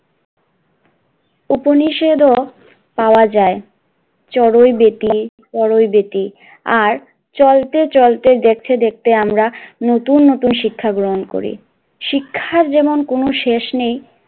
উপনিষেধ ও পাওয়া যায় চড়ুই বেটি চড়ুইবেটি আর চলতে চলতে দেখতে দেখতে আমরা নতুন নতুন শিক্ষা গ্রহণ করি, শিক্ষার যেমন কোন শেষ নেই,